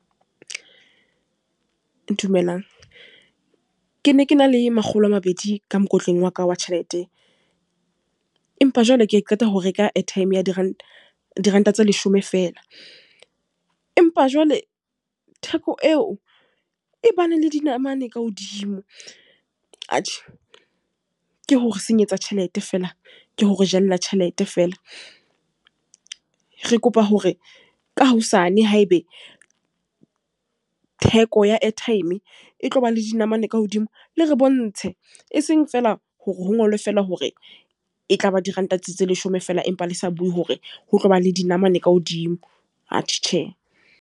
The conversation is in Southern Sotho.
Dumelang. Ke ne ke na le makgolo a mabedi ka mokotleng wa ka wa tjhelete. Empa jwale ke qeta ho reka airtime ya diranta, diranta tse leshome fela. Empa jwale theko eo e ba ne le dinamane ka hodimo. Atjhe ke hore senyetsa tjhelete feela, ke hore jelella tjhelete feela. Re kopa hore ka hosane, haebe theko ya airtime e tloba le dinamane ka hodimo, le re bontshe. E seng feela hore ho ngolwe fela hore e tla ba diranta tse leshome fela empa le sa bue hore ho tlo ba le dinamane ka hodimo. Atjhe, tjhe.